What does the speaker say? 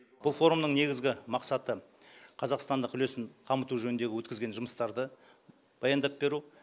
бұл форумның негізгі мақсаты қазақстандық үлесін дамыту жөніндегі өткізген жұмыстарды баяндап беру